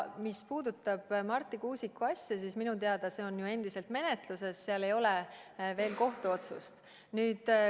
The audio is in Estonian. Mis puudutab Marti Kuusiku asja, siis minu teada on see endiselt menetluses, seal ei ole veel kohtuotsust.